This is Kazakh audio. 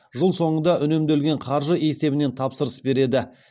жыл соңында үнемделген қаржы есебінен тапсырыс береді